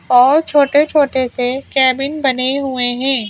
और छोटे-छोटे से कैबिन बने हुए है ।